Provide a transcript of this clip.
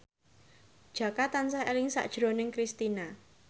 Jaka tansah eling sakjroning Kristina